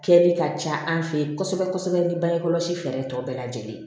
Kɛli ka ca an fɛ yen kosɛbɛ kosɛbɛ ni bangekɔlɔsi fɛɛrɛ ye tɔ bɛɛ lajɛlen ye